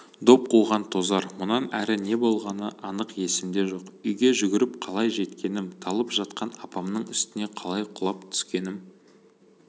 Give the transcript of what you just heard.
доп қуған тозар мұнан әрі не болғаны анық есімде жоқ үйге жүгіріп қалай жеткенім талып жатқан апамның үстіне қалай құлап түскенім